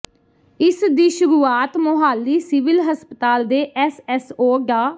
ਇਸ ਦੀ ਸ਼ੁਰੂਆਤ ਮੋਹਾਲੀ ਸਿਵਲ ਹਸਪਤਾਲ ਦੇ ਐੱਸਐੱਮਓ ਡਾ